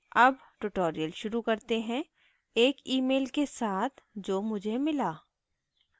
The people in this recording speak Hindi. अब tutorial शुरू करते हैं एक mail के साथ जो मुझे mail